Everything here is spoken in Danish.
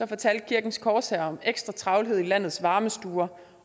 fortalte kirkens korshær om ekstra travlhed i landets varmestuer